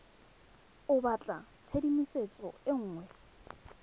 o batla tshedimosetso e nngwe